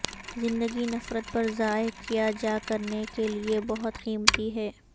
زندگی نفرت پر ضائع کیا جا کرنے کے لئے بہت قیمتی ہے